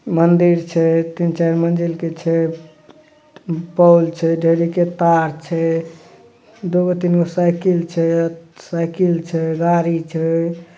मंदिर छे तीन-चार मंदिर के छे | बिजली के तार छे दो तीन साइकिल छे साइकिल छे गाड़ी छे।